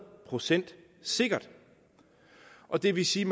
procent sikkert og det vil sige